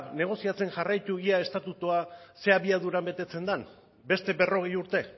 negoziatzen jarraitu ea estatutua ze abiadura betetzen den beste berrogei urte